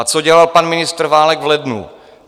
A co dělal pan ministr Válek v lednu?